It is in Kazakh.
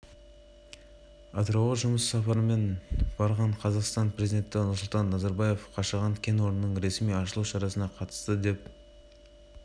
қазір ұлттық қауіпсіздік комитетінің күшімен ақтөбеде мұнай өңдеу заутының маңындаарнайы операция жүргізілуде қаланың әр түкпірінде ұстау